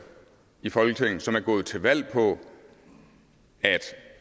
i folketinget som er gået til valg på